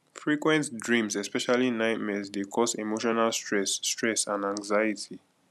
frequent dreams especially nightmares dey cause emotional stress stress and anxiety